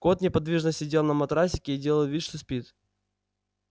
кот неподвижно сидел на матрасике и делал вид что спит